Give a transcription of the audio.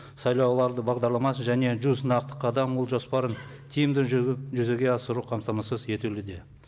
сайлау алды бағдарламасы және жүз нақты қадам ұлт жоспарын тиімді жүзеге асыру қамтамасыз етілуде